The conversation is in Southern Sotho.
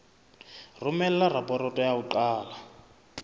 romela raporoto ya ho qala